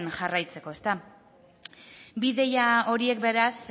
jarraitzeko ezta bi ideia horiek beraz